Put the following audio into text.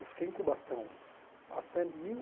Eu fiquei em Cubatão até mil